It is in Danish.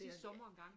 Sidste sommer en gang